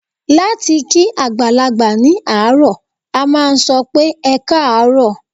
Láti kí àgbàlagbà ní àárọ̀, a máa sọ pé "ẹkáàárọ̀".